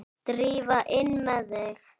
Drífa, inn með þig!